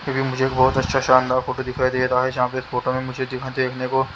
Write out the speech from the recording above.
मुझे एक बहुत अच्छा शानदार फोटो दिखाई दे रहा है जहाँ पे फोटो में मुझे दिखा देखने को--